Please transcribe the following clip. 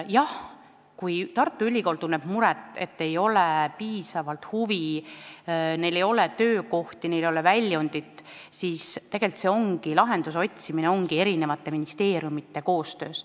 Jah, kui Tartu Ülikool tunneb muret, et ei ole piisavalt huvi, et viipekeeletõlkidel ei ole töökohti, neil ei ole väljundit, siis lahendust tulebki otsida eri ministeeriumide koostöös.